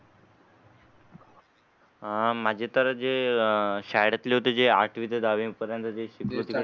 आह माझी तर जे शाळेत जे आठवी ते दहावी पर्यंतचे शिक्षण.